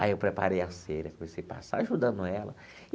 Aí eu preparei a cera, comecei a passar ajudando ela.